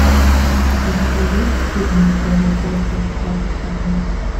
у тебя есть фильм история одри хепберн